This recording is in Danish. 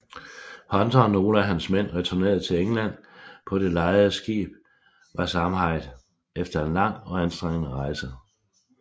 Hunter og nogle af hans mænd returnerede til England på det lejede skib Waakzaamheid efter en lang og anstrengende rejse